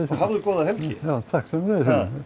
og hafðu góða helgi já takk sömuleiðis